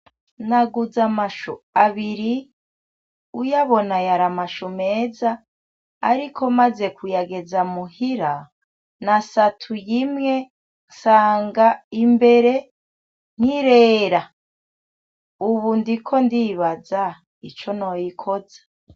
Naguze amashu abiri, uyabona yari amashu meza, ariko maze kugera muhira nasatuye imwe nsanga imbere ntirera. Ubu ndiko ndibaza ico noyikoza.